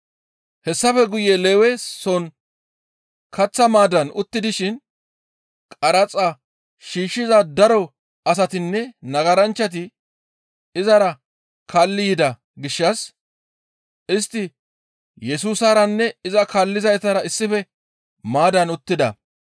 Hessafe guye Lewe soon kaththa maaddan utti dishin qaraxa shiishshiza daro asatinne nagaranchchati izara kaalli yida gishshas istti Yesusaranne iza kaallizaytara issife maaddaan uttida.